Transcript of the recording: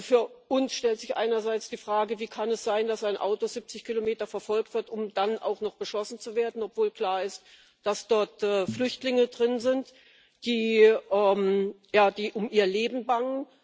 Für uns stellt sich einerseits die Frage Wie kann es sein, dass ein Auto 70 Kilometer verfolgt wird, um dann auch noch beschossen zu werden, obwohl klar ist, dass dort Flüchtlinge drin sind, die um ihr Leben bangen?